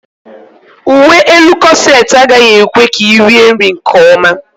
Uwe elu kọset agaghị ekwe ka ị rie nri nkeọma.